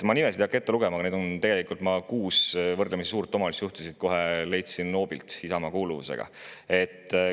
Ma nimesid ei hakka ette lugema, aga tegelikult ma leidsin siit kohe hoobilt kuus võrdlemisi suure omavalitsuse juhti, kes kuuluvad Isamaasse.